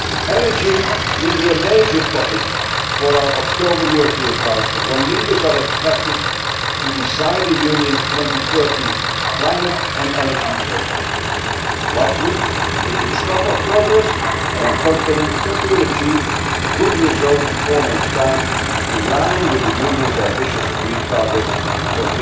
gas. Energy will be a major topic of our October European Council, when leaders are expected to decide the Union's 2030 climate and energy framework. Last week, we took stock of progress, and I am confident that we will achieve a good result in four months' time, in line with the Union's ambitious agreed targets